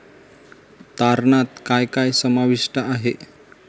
तारणात काय काय समाविष्ट आहे?